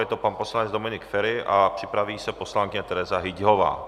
Je to pan poslanec Dominik Feri a připraví se poslankyně Tereza Hyťhová.